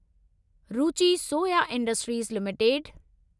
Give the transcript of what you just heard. Ruchi Soya industries limited